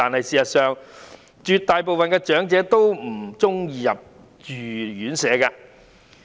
事實上絕大部分長者都不喜歡入住院舍。